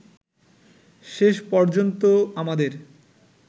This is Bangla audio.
শেষ পর্যন্ত আমাদের